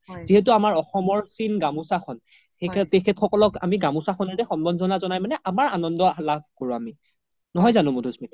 যিহেতু আমাৰ অসমৰ চীন গামুচা খন তেখেত সকলক আমি গামুচা খনৰে সাম্বৰ্ধনা জনা জ্নাই আমাৰ আনান্দ লাভ কৰো আমি নহয় জানো মাধুস্মিতা